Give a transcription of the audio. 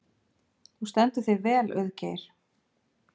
Þú stendur þig vel, Auðgeir!